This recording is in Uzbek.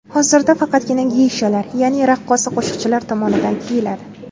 Hozirda faqatgina geyshalar, ya’ni raqqosa-qo‘shiqchilar tomonidan kiyiladi.